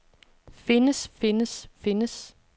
findes findes findes